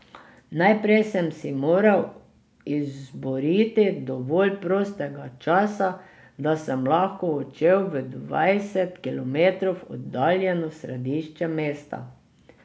Najprej sem si moral izboriti dovolj prostega časa, da sem lahko odšel v dvajset kilometrov oddaljeno središče mesta.